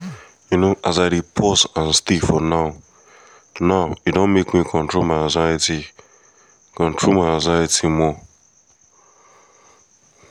you know as i dey pause and stay for the now-now e don make me control my anxiety control my anxiety more.